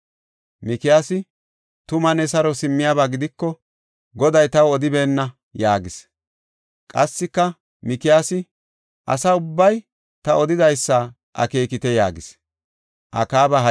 Mikiyaasi, “Tuma ne saro simmiyaba gidiko, Goday taw odibeenna” yaagis. Qassika, Mikiyaasi, “Asa ubbay ta odidaysa akeekite” yaagis.